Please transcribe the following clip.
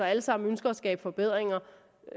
alle sammen ønsker at skabe forbedringer